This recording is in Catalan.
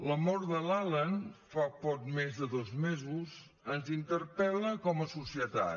la mort de l’alan fa poc més de dos mesos ens interpel·la com a societat